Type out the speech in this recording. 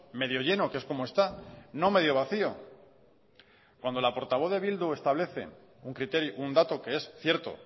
medio lleno que es como está no medio vacío cuando la portavoz de bildu establece un dato que es cierto